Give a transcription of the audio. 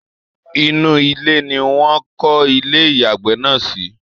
Inú ile ni Wọ́n ń kọ́ ilé ìyàgbẹ́ náà sí